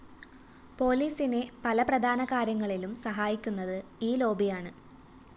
പോലീസിനെ പല പ്രധാനകാര്യങ്ങളിലും സഹായിക്കുന്നത് ഈ ലോബിയാണ്